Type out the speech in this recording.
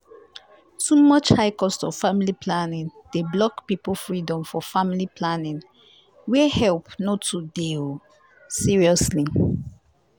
too much high cost of family planning dey block people freedom for family planning where help no too dey o seriously